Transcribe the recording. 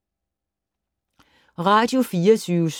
Radio24syv